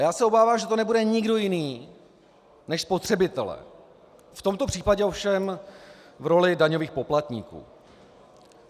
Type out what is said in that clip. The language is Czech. A já se obávám, že to nebude nikdo jiný než spotřebitelé, v tomto případě ovšem v roli daňových poplatníků.